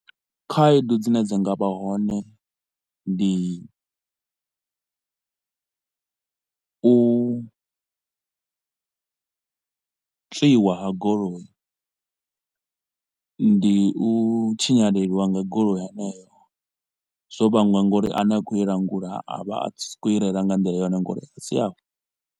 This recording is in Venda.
Khaedu dzine dza nga vha hone ndi u tswiwa ha golo, i ndi u tswiwa, ndi u tshinyalelwa nga goloi heneyo, zwo vhangwa ngauri ane a khou i langula a vha a sa khou i reila nga nḓila yone ngauri a si yawe.